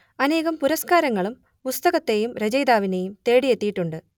അനേകം പുരസ്കരങ്ങളും പുസ്തകത്തെയും രചയിതാവിനെയും തേടിയെത്തിയിട്ടുണ്ട്